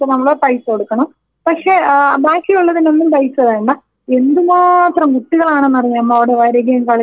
പക്ഷേ ആ ബാക്കിയുള്ളതിനൊന്നും പൈസ വേണ്ട എന്തുമാത്രം കുട്ടികളാണെന്നറിയാമോ അവിടെ വരികയും കളിക്കുകയുമൊക്കെ ചെയ്യ്ണത്.